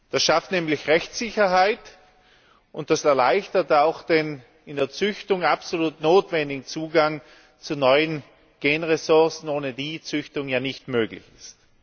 Das schafft nämlich Rechtssicherheit und das erleichtert auch den in der Züchtung absolut notwendigen Zugang zu neuen Gen Ressourcen, ohne die Züchtung ja nicht möglich ist.